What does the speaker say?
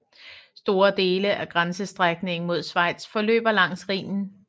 Store dele af grænsestrækningen mod Schweiz forløber langs Rhinen